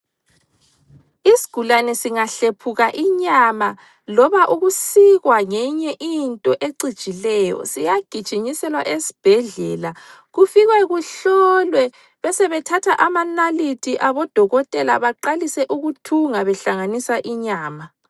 Isigulane singahlephuka inyama loba ukusikwa ngenye into ecijileyo siyagijinyiselwa esibhedlela kufikwe kuhlolwe besebethatha amanalithi abodokotela baqalise ukuthunga behlanganisa inyama.